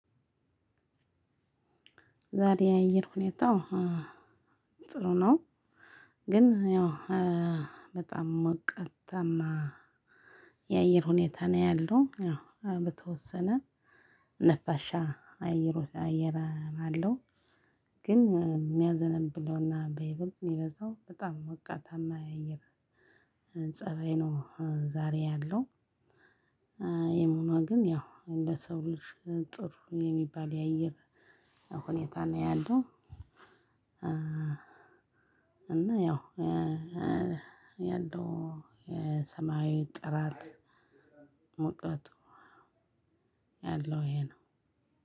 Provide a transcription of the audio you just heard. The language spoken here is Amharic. ዛሬ የአየር ሁኔታው ጥሩ ነው። ግን ያው በጣም ሞቃታማ የአየር ሁኔታ ነው ያለው ያው በተወሰነ ነፋሻ አየር አየር አለው። ግን የሚያዘነብለውና በይበልጥ ሚበዛው በጣም ሞቃታማ የአየር ፀባይ ፀባይ ነው ዛሬ ያለው። ይም ሆኖ ግን ያው እንደ ሰው ልጅ ጥሩ የሚባል የአየር ሁኔታ ነው ያለው። እና ያው ያለው የሰማያዊ ጥራት ሙቀቱ ያለው ይሄ ነው።